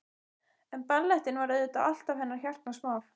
En ballettinn var auðvitað alltaf hennar hjartans mál.